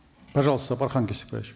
пожалуйста сапархан кесикбаевич